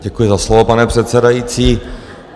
Děkuji za slovo, pane předsedající.